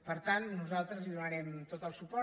per tant nosaltres hi donarem tot el suport